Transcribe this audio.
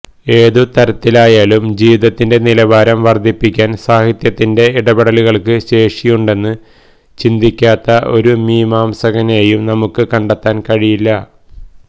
ഏതുതരത്തിലായാലും ജീവിതത്തിന്റെ നിലവാരം വര്ദ്ധിക്കുവാന് സാഹിത്യത്തിന്റെ ഇടപെടലുകള്ക്ക് ശേഷിയുണ്ടെന്ന് ചിന്തിക്കാത്ത ഒരു മീമാംസകനേയും നമുക്ക് കണ്ടെത്താന് കഴിയില്ല